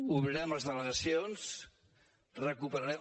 obrirem les delegacions recuperarem